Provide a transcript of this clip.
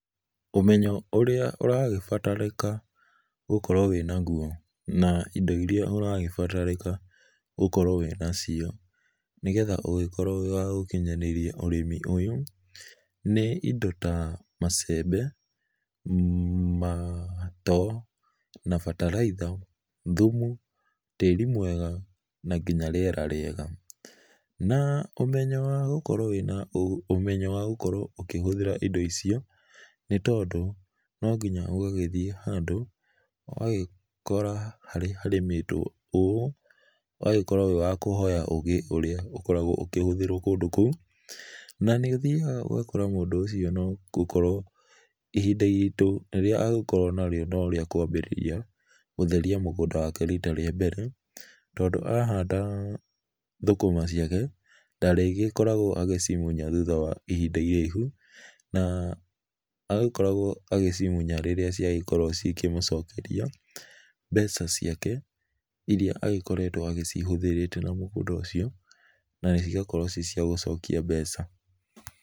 Ũmenyo ũrĩa ũragĩbatarĩka gũkorwo wĩ naguo, na indo iria ũragĩbatarĩka gũkorwo wĩnacio, nĩgetha ũgĩkorwo ũrĩ wa gũkinyanĩria ũrĩmi ũyũ, nĩ ĩndo ta macembe, matoo, na bataraitha, thumu, tĩri mwega, na nginya rĩera rĩega. Na ũmenyo wa gũkorwo wĩna, ũmenyo wa gũkorwo ũkĩhũthĩra indo icio, nĩ tondũ no nginya ũgagĩthiĩ handũ, ũgagĩkora harĩ harĩmĩtwo ũũ, ũgagĩkorwo wĩ wa kũhoya ũgĩ ũrĩa ũkoragwo ũkĩhũthĩrwo kũndũ kũu. Na nĩ ũthiaga ũgakora mũndũ ũcio no gũkorwo ihinda iritu rĩrĩa angĩkorwo narĩo no rĩa kwambĩrĩria gũtheria mũgũnda wake rita rĩa mbere. Tondũ ahanda thũkũma ciake, ndarĩgĩkoragwo agĩcimunya thutha wa ihinda iraihu na arĩkoragwo agĩcimunya rĩrĩa ciagĩkorwo cikĩmũcokeria mbeca ciake irĩa agĩkoretwo agĩcihũthĩrĩte na mũgũnda ũcio, na cigakorwo ci cia gũcokia mbeca.